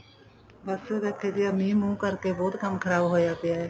ਬੱਸ ਬੈਠੇ ਸੀ ਆਹ ਮੀਂਹ ਮੁੰਹ ਕਰਕੇ ਬਹੁਤ ਕੰਮ ਖਰਾਬ ਹੋਇਆ ਪਿਆ